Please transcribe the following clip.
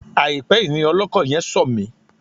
Àìpẹ́ yìí ni ọlọ́kọ̀ yẹn sọ̀ mí.